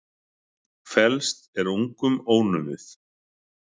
Felst er ungum ónumið.